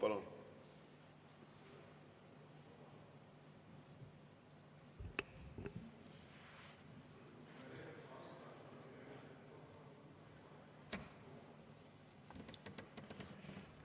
Palun!